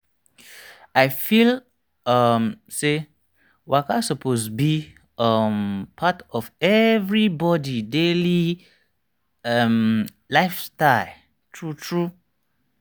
i feel um say waka suppose be um part of everybody daily um lifestyle true true.